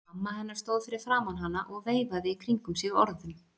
Mamma hennar stóð fyrir framan hana og veifaði í kringum sig orðum.